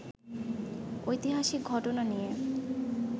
ঐতিহাসিক ঘটনা নিয়ে